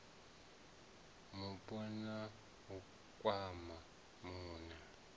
mupo na u kwama muṋe